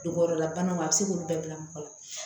Dugɔrɔlabanaw a be se k'olu bɛɛ bila mɔgɔ la